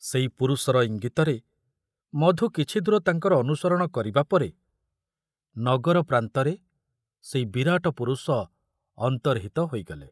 ସେଇ ପୁରୁଷର ଇଙ୍ଗିତରେ ମଧୁ କିଛି ଦୂର ତାଙ୍କର ଅନୁସରଣ କରିବା ପରେ ନଗର ପ୍ରାନ୍ତରେ ସେଇ ବିରାଟ ପୁରୁଷ ଅନ୍ତର୍ହିତ ହୋଇଗଲେ।